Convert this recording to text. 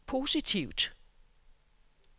positivt